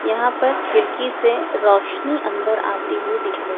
यहां पर खिड़की से रोशनी अंदर आती हुई दिख र--